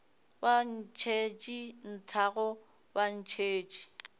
ba ntšhetše nthago ba ntšhetše